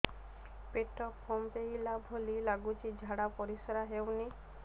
ପେଟ ଫମ୍ପେଇଲା ଭଳି ଲାଗୁଛି ଝାଡା ପରିସ୍କାର ହେଉନି